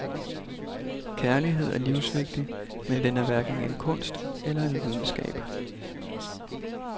Kærlighed er livsvigtig, men den er hverken en kunst eller en videnskab.